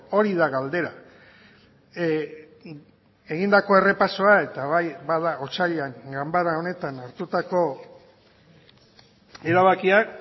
hori da galdera egindako errepasoa eta bai bada otsailean ganbara honetan hartutako erabakiak